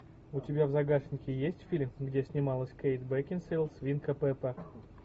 у тебя в загашнике есть фильм где снималась кейт бекинсейл свинка пеппа